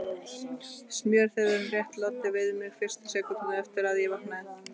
Smjörþefurinn rétt loddi við mig fyrstu sekúndurnar eftir að ég vaknaði.